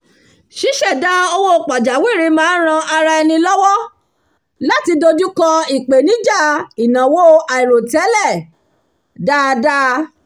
ṣíṣẹ̀dá owó pajáwìrì máa ń ran àwọn ará ẹni lọ́wọ́ láti dojú kọ ipenija ìnáwó àìròtẹ́lẹ̀ dáadáa